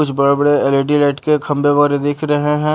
कुछ बड़े बड़े एल_ई_डी लाइट के खंबे वारे दिख रहे हैं।